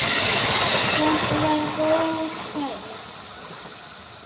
Þetta var góð ferð.